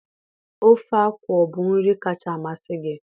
ofe akwu ọ bụ nri kacha amasị gị?